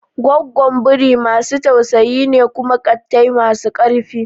Goggon biri masu tausayi ne kuma ƙattai masu ƙarfi.